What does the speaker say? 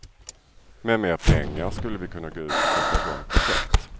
Med mer pengar skulle vi kunna gå ut och sätta i gång projekt.